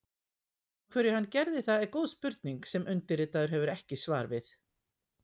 Af hverju hann gerði það er góð spurning sem undirritaður hefur ekki svar við.